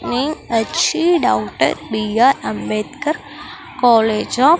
name వచ్చి daughter B R Ambedkar college of --